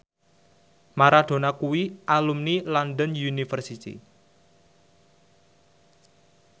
Maradona kuwi alumni London University